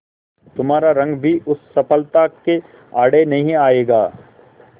तुम्हारा रंग भी उस सफलता के आड़े नहीं आएगा